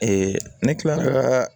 ne kila kaa